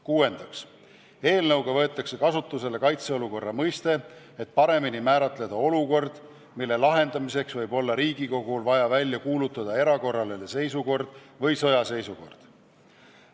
Kuuendaks, eelnõu kohaselt võetakse kasutusele kaitseolukorra mõiste, et paremini määratleda olukord, mille lahendamiseks võib Riigikogul olla vaja välja kuulutada erakorraline seisukord või sõjaseisukord.